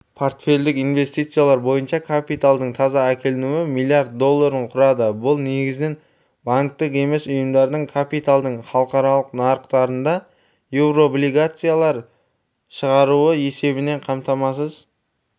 портфельдік инвестициялар бойынша капиталдың таза әкелінуі млрд долларын құрады бұл негізінен банктік емес ұйымдардың капиталдың халықаралық нарықтарында еурооблигациялар шығаруы есебінен қамтамасыз